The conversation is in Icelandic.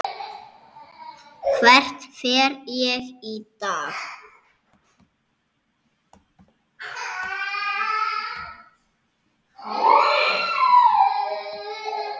Hvert fer ég í dag?